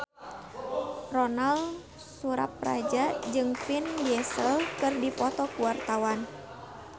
Ronal Surapradja jeung Vin Diesel keur dipoto ku wartawan